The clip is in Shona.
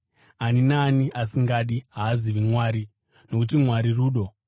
Ani naani asingadi haazivi Mwari, nokuti Mwari rudo.